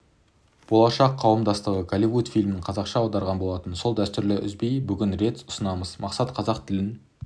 болашақ қауымдастығы голливуд фильмін қазақша аударған болатын сол дәстүрін үзбей бүгін рет ұсынамыз мақсат қазақ тілін